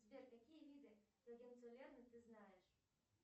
сбер какие виды ты знаешь